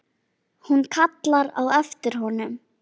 Hún kallar á eftir honum.